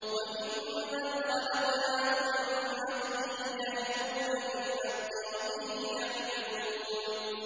وَمِمَّنْ خَلَقْنَا أُمَّةٌ يَهْدُونَ بِالْحَقِّ وَبِهِ يَعْدِلُونَ